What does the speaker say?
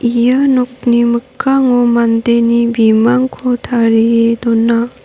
ia nokni mikkango mandeni bimangko tarie dona.